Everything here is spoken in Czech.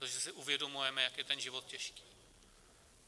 Protože si uvědomujeme, jak je ten život těžký.